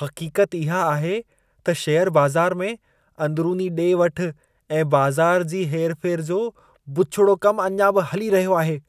हक़ीक़त इहा आहे त शेयर बाज़ार में, अंदरूनी ॾे-वठु ऐं बाज़ार जी हेर-फेर जो बुछिड़ो कमु अञा बि हली रहियो आहे।